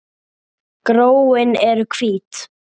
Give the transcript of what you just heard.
Gróin eru hvít.